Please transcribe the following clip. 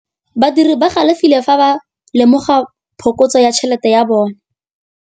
Badiri ba galefile fa ba lemoga phokotsô ya tšhelête ya bone.